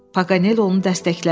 Paganel onu dəstəklədi.